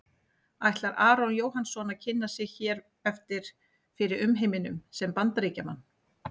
Ætlar Aron Jóhannsson að kynna sig hér eftir fyrir umheiminum sem Bandaríkjamann?